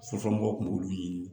Sufɛmɔgɔw kun b'olu ɲini